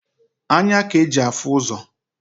Anya k'e ji afụ ụzọ.